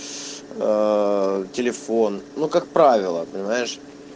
телефон ну как правило понимаешь